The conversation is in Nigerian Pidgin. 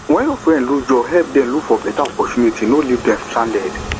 when your friend lose job help dem look for better opportunities no leave dem stranded